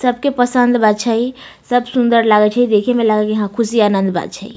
सब के पसंद मे छै सब सुन्दर लागय छै देखे मे लागय हां सब खुशी आनंद मे छै।